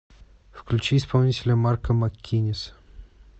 включи исполнителя марко маккиннис